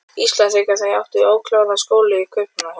Íslands þegar þær áttu ókláraða skóla í Kaupmannahöfn.